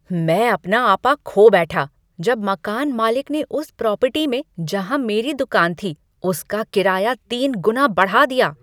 मैं अपना आपा खो बैठा जब मकान मालिक ने उस प्रॉपर्टी में जहाँ मेरी दुकान थी, उस का किराया तीन गुना बढ़ा दिया ।